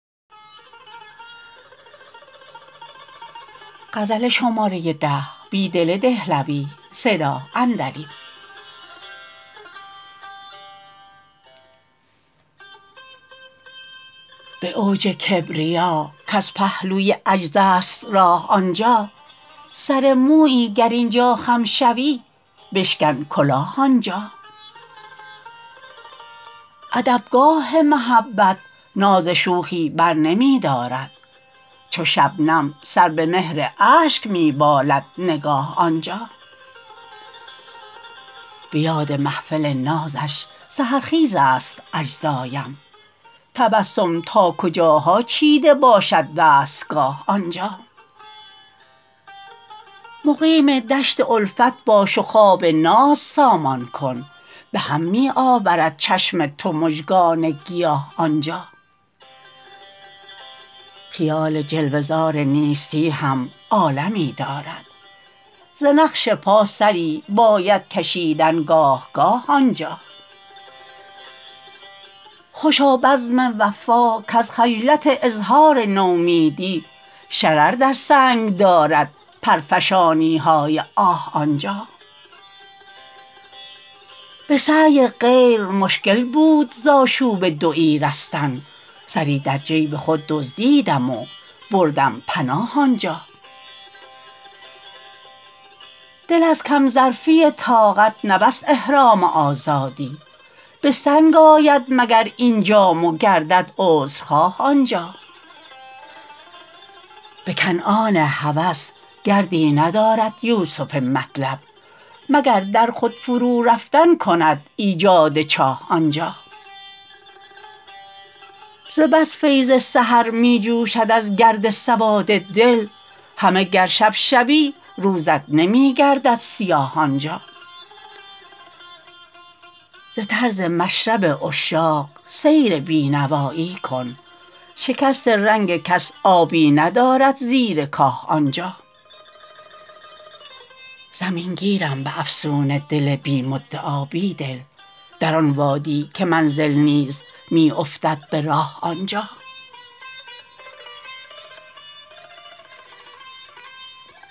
به اوج کبریا کز پهلوی عجز است راه آنجا سر مویی گر اینجا خم شوی بشکن کلاه آنجا ادبگاه محبت ناز شوخی برنمی دارد چو شبنم سر به مهر اشک می بالد نگاه آنجا به یاد محفل نازش سحرخیزست اجزایم تبسم تا کجاها چیده باشد دستگاه آنجا مقیم دشت الفت باش و خواب ناز سامان کن به هم می آورد چشم تو مژگان گیاه آنجا خیال جلوه زار نیستی هم عالمی دارد ز نقش پا سری باید کشیدن گاه گاه آنجا خوشا بزم وفا کز خجلت اظهار نومیدی شرر در سنگ دارد پرفشانی های آه آنجا به سعی غیر مشکل بود ز آشوب دویی رستن سری در جیب خود دزدیدم و بردم پناه آنجا دل از کم ظرفی طاقت نبست احرام آزادی به سنگ آید مگر این جام و گردد عذرخواه آنجا به کنعان هوس گردی ندارد یوسف مطلب مگر در خود فرورفتن کند ایجاد چاه آنجا ز بس فیض سحر می جوشد از گرد سواد دل همه گر شب شوی روزت نمی گردد سیاه آنجا ز طرز مشرب عشاق سیر بینوایی کن شکست رنگ کس آبی ندارد زیر کاه آنجا زمینگیرم به افسون دل بی مدعا بیدل در آن وادی که منزل نیز می افتد به راه آنجا